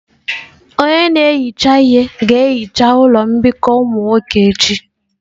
Onye na-ehicha ihe ga-ehicha ụlọ mbikọ ụmụ nwoke echi.